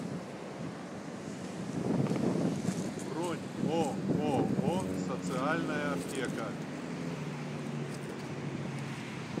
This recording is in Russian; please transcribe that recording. бронь ооо социальная аптека